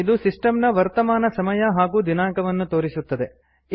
ಇದು ಸಿಸ್ಟಮ್ ನ ವರ್ತಮಾನ ಸಮಯ ಹಾಗೂ ದಿನಾಂಕವನ್ನು ತೋರಿಸುತ್ತದೆ